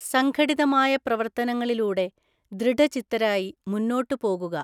സംഘടിതമായ പ്രവര്ത്തനങ്ങളിലൂടെ ദൃഢചിത്തരായി മുന്നോട്ട് പോകുക